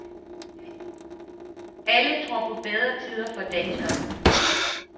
Alle tror på bedre tider for danskerne.